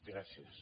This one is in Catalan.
gràcies